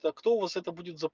а кто у вас это